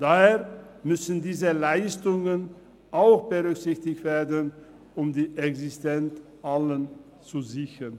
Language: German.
Daher müssen diese Leistungen auch berücksichtigt werden, um die Existenz aller zu sichern.